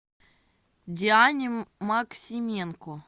диане максименко